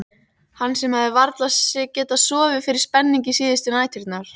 Hann sem hafði varla getað sofið fyrir spenningi síðustu næturnar.